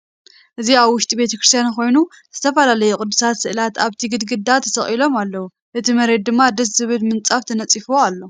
እዚ አብ ውሽጢ ቤተ ክርስትያን ይኑ ዝተፈላለዩ ቅዱሳት ስእላት አብቲ ግድግዳ ተሰቂሎም አለዉ፡፡ አቲ መሬት ድማ ደስ ዝብል ምንፃፍ ተነፂፉዎ አሎ፡፡